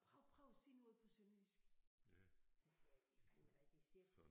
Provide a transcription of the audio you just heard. Prøv prøv at sige noget på sønderjysk så siger jeg vi fandeme da ikke i cirkus